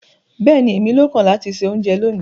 Bẹ́ẹ̀ni, émi ló kàn láti ṣẹ ọ̀unjẹ lónì